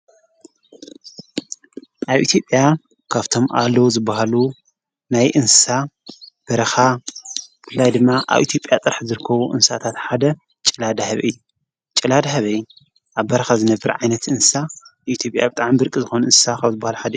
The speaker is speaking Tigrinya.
ኣብ ኢቲጴያ ካብቶም ኣሎ ዝብሃሉ ናይ እንሳ በረኻ ብላይ ድማ ኣብ ኤቲጴያ ጥራሕ ዘርከቡ እንሳእታት ሓደ ጨላ ዳ ሕብይ እ ጨላ ደሕበይ ኣብ በረኻ ዝነብር ዓይነት እንሳ ኢቲጴያ ኣብጥዓም ብርቂ ዝኾኑ እንሳ ኻብ ዝብሃል ሓደ እዩ።